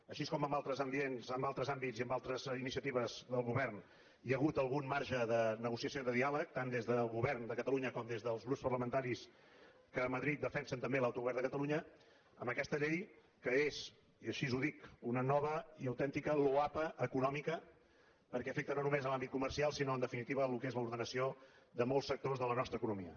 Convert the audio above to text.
així com en altres ambients en altres àmbits i en altres iniciatives del govern hi ha hagut algun marge de negociació i de diàleg tant des del govern de catalunya com des dels grups parlamentaris que a madrid defensen també l’autogovern de catalunya en aquesta llei que és i així ho dic una nova i autèntica loapa econòmica perquè afecta no només l’àmbit comercial sinó en definitiva el que és l’ordenació de molts sectors de la nostra economia